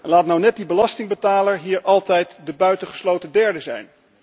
Laat nou net die belastingbetaler hier altijd de buitengesloten derde zijn.